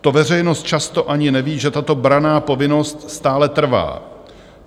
To veřejnost často ani neví, že tato branná povinnost stále trvá.